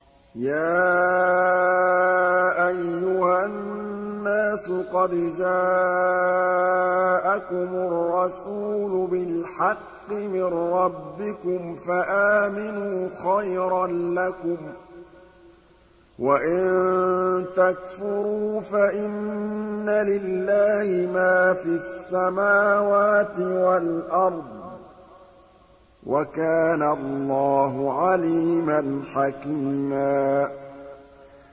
يَا أَيُّهَا النَّاسُ قَدْ جَاءَكُمُ الرَّسُولُ بِالْحَقِّ مِن رَّبِّكُمْ فَآمِنُوا خَيْرًا لَّكُمْ ۚ وَإِن تَكْفُرُوا فَإِنَّ لِلَّهِ مَا فِي السَّمَاوَاتِ وَالْأَرْضِ ۚ وَكَانَ اللَّهُ عَلِيمًا حَكِيمًا